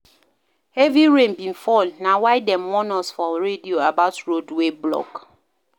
Heavy rain bin fall na why dem warn us for radio about road wey block.